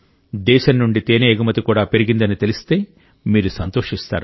దేశం నుండి తేనె ఎగుమతి కూడా పెరిగిందని తెలిస్తే మీరు సంతోషిస్తారు